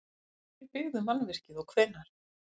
Hverjir byggðu mannvirkið og hvenær?